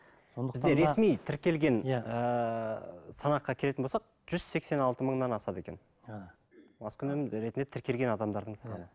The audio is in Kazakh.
бізде ресми тіркелген иә ыыы санатқа келетін болсақ жүз сексен алты мыңнан асады екен маскүнем ретінде тіркелген адамдардың саны